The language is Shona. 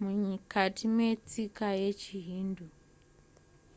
mukati metsika yechihindu